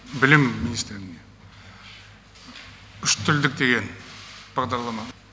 білім министрлігіне үштілдік деген бағдарлама